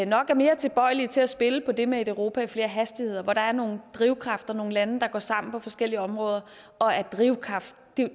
nok er mere tilbøjelige til at spille på det med et europa i flere hastigheder hvor der er nogle drivkræfter nogle lande der går sammen på forskellige områder og er drivkraft